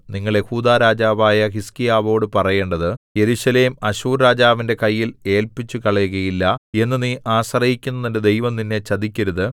നിങ്ങൾ യെഹൂദാ രാജാവായ ഹിസ്കീയാവോടു പറയേണ്ടത് യെരൂശലേം അശ്ശൂർരാജാവിന്റെ കയ്യിൽ ഏല്പിച്ചുകളയുകയില്ല എന്നു നീ ആശ്രയിക്കുന്ന നിന്റെ ദൈവം നിന്നെ ചതിക്കരുത്